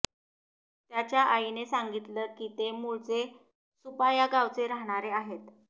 त्याच्या आईने सांगितलं की ते मुळचे सूपा या गावचे राहणारे आहेत